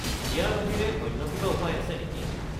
ইয়াৰ বাহিৰে অন্য কিবা উপায় আছে নেকি?